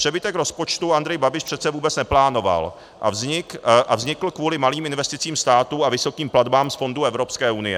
Přebytek rozpočtu Andrej Babiš přece vůbec neplánoval a vznikl kvůli malým investicím státu a vysokým platbám z fondů Evropské unie.